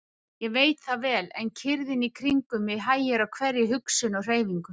Ég veit það vel, en kyrrðin í kringum mig hægir á hverri hugsun og hreyfingu.